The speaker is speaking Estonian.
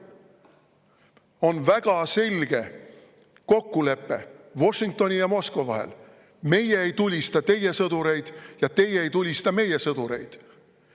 On väga selge kokkulepe Washingtoni ja Moskva vahel: meie ei tulista teie sõdureid ja teie ei tulista meie sõdureid.